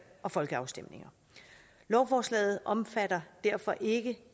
og folkeafstemninger lovforslaget omfatter derfor ikke